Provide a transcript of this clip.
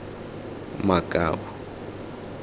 makau